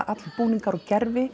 öll búningar og gervi